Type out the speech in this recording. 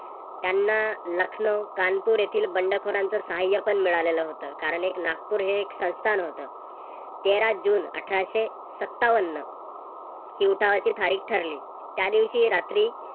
त्यांना लखनौ, कानपुर येथील बंडखोरांच सहाय्य्य पण मिळालेलं होत. कारण एक नागपूर हे एक संस्थान होत. तेरा जून अठराशे सत्तावन्न हि उठावाची तारीख ठरली. त्या दिवशी रात्री